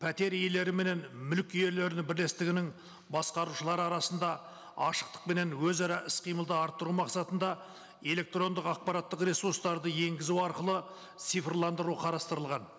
пәтер иелері менен мүлік иелерінің бірлестігінің басқарушылары арасында ашықтық пенен өзара іс қимылды арттыру мақсатында электрондық ақпараттық ресурстарды енгізу арқылы цифрландыру қарастырылған